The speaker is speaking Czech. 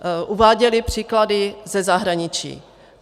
Uváděli příklady ze zahraničí.